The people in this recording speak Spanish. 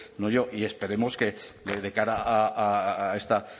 no yo y esperemos que de cara a esta